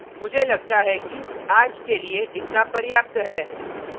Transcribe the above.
मुझे लगता है कि आज के लिए इतना पर्याप्त है